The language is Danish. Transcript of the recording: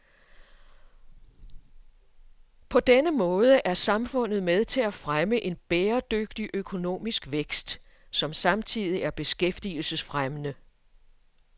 På denne måde er samfundet med til at fremme en bæredygtig økonomisk vækst, som samtidig er beskæftigelsesfremmende.